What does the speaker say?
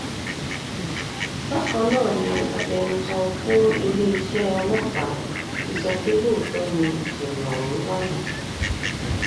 bákan náà ni agbẹnusọ fún iléeṣẹ́ ọlọ́pàá ti sọ pé lóòótọ́ nìṣẹ̀lẹ̀ ọ̀hún wáyé